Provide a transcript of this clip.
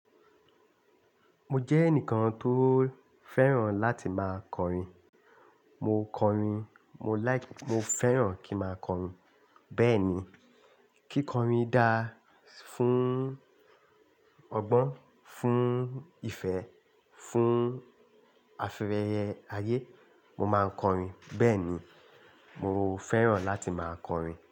Mo jẹ́ ẹnìkan tó fẹ́ràn láti máa kọrin. Mo kọrin, mo like, mo fẹ́ràn kí máa kọrin. Bẹ́ẹ̀ ni, kí kọrin dá fún ọgbọ́n, fún ìfẹ́, fún afẹ́yẹyẹ ayé. Mo máa kọrin. Bẹ́ẹ̀ ni, mo fẹ́ràn láti máa kọrin.